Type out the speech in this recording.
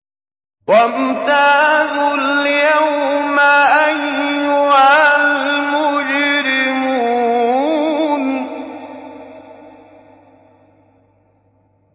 وَامْتَازُوا الْيَوْمَ أَيُّهَا الْمُجْرِمُونَ